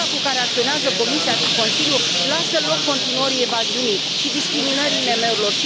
Viteza cu care acționează Comisia și Consiliul lasă loc continuării evaziunii și discriminării IMM urilor.